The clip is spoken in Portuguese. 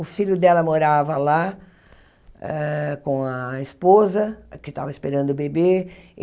O filho dela morava lá ah com a esposa, que estava esperando bebê.